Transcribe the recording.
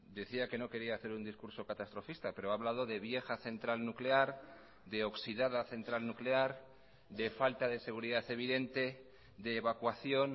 decía que no quería hacer un discurso catastrofista pero ha hablado de vieja central nuclear de oxidada central nuclear de falta de seguridad evidente de evacuación